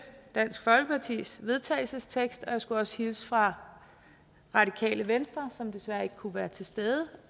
dansk folkepartis vedtagelsestekst og jeg skulle også hilse fra radikale venstre som desværre ikke kunne være til stede